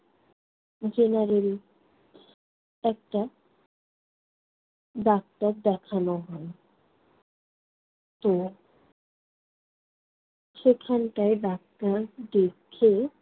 general একটা doctor দেখানো হয়। তো সেখানটায় ডাক্তার দেখে